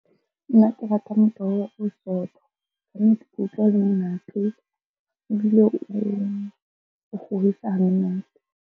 Nna ke rata motoho o sootho. Kannete ke utlwa o le monate ebile o kgorisa ha monate.